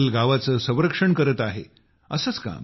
आज हे जंगल गावाचे संरक्षण करत आहे